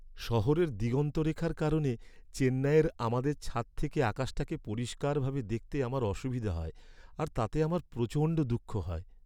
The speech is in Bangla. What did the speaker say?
শহরের দিগন্তরেখার কারণে চেন্নাইয়ের আমাদের ছাদ থেকে আকাশটাকে পরিষ্কারভাবে দেখতে আমার অসুবিধা হয় আর তাতে আমার প্রচণ্ড দুঃখ হয়।